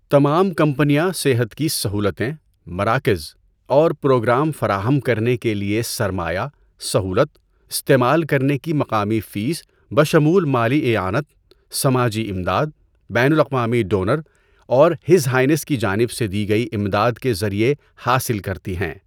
تمام کمپنیاں صحت کی سہولتیں، مراکز اور پروگرام فراہم کرنے کے لیے سرمایہ سہولت استعمال کرنے کی مقامی فیس بشمول مالی اعانت، سماجی امداد، بین الاقوامی ڈونر اور ہز ہائینس کی جانب سے دی گئی امداد کے ذریعہ حاصل کرتی ہیں۔